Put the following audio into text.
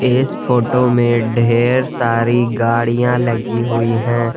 इस फोटो में ढेर सारी गाड़ियां लगी हुई है।